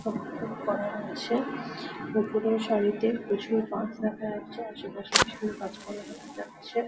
খোপ খোপ করা রয়েছে। ওপরের সারিতে প্রচুর বাঁশ দেখা যাচ্ছে। আশেপাশে প্রচুর গাছপালা দেখা যাচ্ছে।